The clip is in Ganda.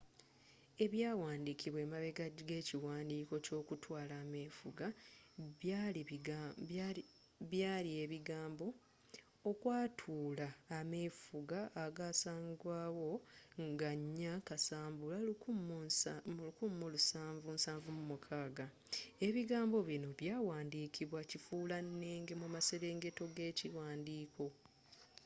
ebyawandikibwa emabega g’ekiwandiiko eky’okwatula ameefuga byali ebigambo okwatuula ameefuga agaasangwa wo nga 4 kasambula 1776”. ebigambo binno byawandikibwa kifuulannenge mu maserengeto g’ekiwandiiko